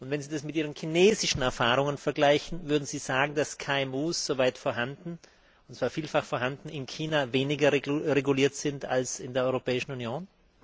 Und wenn Sie das mit Ihren chinesischen Erfahrungen vergleichen Würden Sie sagen, dass KMU soweit vorhanden, und zwar vielfach vorhanden in China weniger reguliert sind als in der Europäischen Union?